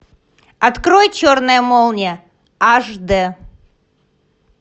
открой черная молния аш д